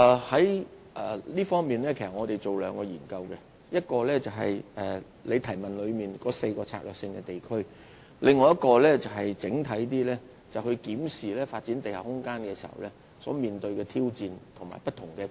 在這方面，我們要進行兩項研究，其一是主體質詢所提及的4個策略性地區，其二是較為整體地檢視發展地下空間所面對的挑戰和不同的困難。